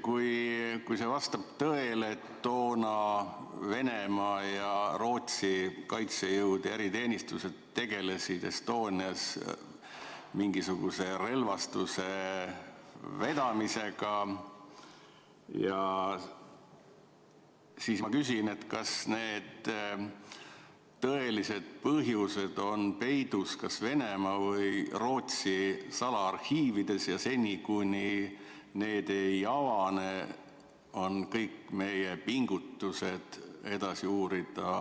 Kui vastab tõele, et toona Venemaa ja Rootsi kaitsejõud ja eriteenistused tegelesid Estonial mingisuguse relvastuse vedamisega, siis ma küsin, kas need tõelised põhjused on peidus Venemaa või Rootsi salaarhiivides ja seni, kuni need ei avane, ei vii kõik meie pingutused edasi uurida